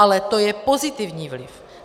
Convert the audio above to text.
Ale to je pozitivní vliv.